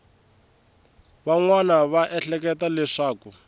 van wana va ehleketa leswaku